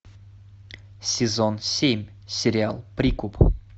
сезон семь сериал прикуп